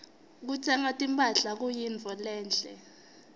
kutsenga timphahla kuyintfo lenhle